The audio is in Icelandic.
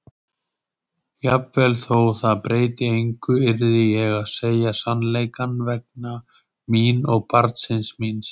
Jafnvel þótt það breytti engu yrði ég að segja sannleikann vegna mín og barnsins míns.